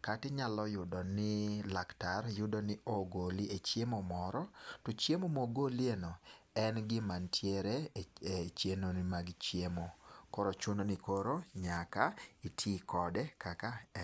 kata inyalo yudo ni laktar yudo ni ogoli e chiemo moro, to chiemo mogoliyeno, en gima nitiere e chenro mag chiemo koro chuno ni koro nyaka iti kode kaka en.